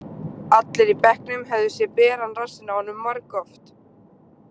Allir í bekknum höfðu séð beran rassinn á honum margoft.